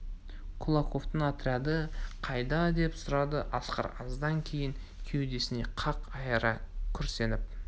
кулаковтың отряды қайда деп сұрады асқар аздан кейін кеудесін қақ айыра күрсініп